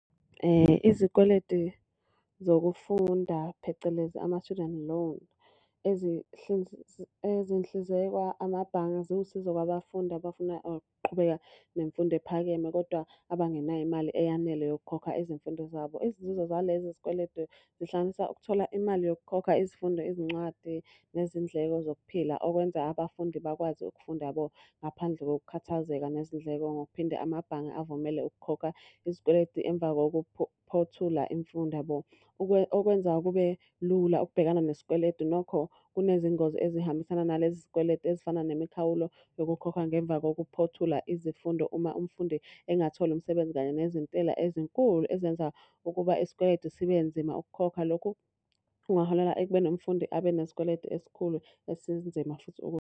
Izikweletu zokufunda phecelezi ama-student loan, ezihlinzekwa emabhange ziwusizo kwabafundi abafuna ukuqhubeka nemfundo ephakeme kodwa abangenayo imali eyanele yokukhokha izimfundo zabo. Izinzuzo zalezi izikweletu zihlanganisa ukuthola imali yokukhokha izifundo, izincwadi nezindleko zokuphila. Okwenza abafundi bakwazi ukufunda yabo, ngaphandle kokukhathazeka nezindleko. Ngokuphinde amabhange avumele ukukhokha izikweletu emva koku phothula imfundo yabo. Okwenza kube lula ukubhekana nesikweletu. Nokho, kunezingozi ezihambisana nalezi zikweletu ezifana nemikhawulo yokukhokhwa ngemva kokuphothula izifundo uma umfundi engatholi umsebenzi. Kanye nezentela ezinkulu ezenza ukuba isikweletu sibe nzima ukukhokha. Lokhu kungaholela ekubeni umfundi abe nesikweletu esikhulu esinzima futhi .